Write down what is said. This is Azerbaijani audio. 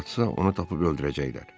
Hara qaçsa onu tapıb öldürəcəklər.